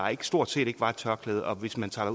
stort set ikke var et tørklæde og hvis man tager